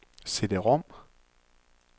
CD-rom